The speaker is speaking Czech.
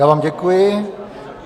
Já vám děkuji.